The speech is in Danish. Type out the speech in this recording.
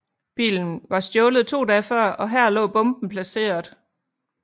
Bilen var stjålet to dage før og her lå bomben placeret